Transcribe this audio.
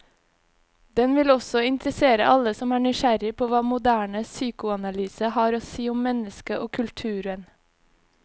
Den vil også interessere alle som er nysgjerrig på hva moderne psykoanalyse har å si om mennesket og kulturen.